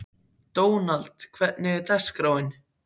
Dónald, hvernig er dagskráin?